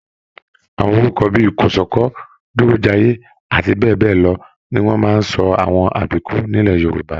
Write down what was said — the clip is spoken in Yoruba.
Àwọn orúkọ bíi Kòsọ́kọ̀, Durojaiye àti bẹẹbẹlọ ní wọn máa n sọ àwọn àbíkú nilẹ̀ Yorùbá.